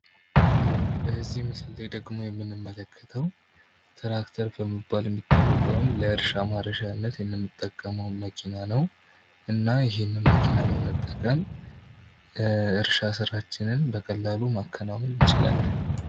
በዚህ ላይ ደግሞ የምንመለከተው ትራክተር ተብሎ የሚታወቀውን ለእርሻ ማረሻነት የምንጠቀመውን መኪና ነው እና ይህን መኪና በመጠቀም የእርሻ ስራችንን በቀላሉ ማከናወን እንችላለን።